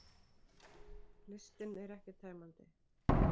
Listinn er ekki tæmandi